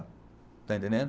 Está entendendo?